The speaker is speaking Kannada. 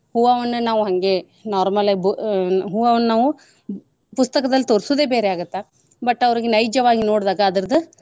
ಹೂವವನ್ನ ನಾವ್ ಹಂಗೆ normal ಆಗಿ ಬು~ ಆಹ್ ಹೂವವನ್ನ ನಾವ್ ಪುಸ್ತಕದಲ್ ತೋರ್ಸುದೆ ಬೇರೆ ಆಗತ್ತ but ಅವ್ರಿಗೆ ನೈಜವಾಗಿ ನೋಡ್ದಾಗ ಅದರ್ದ.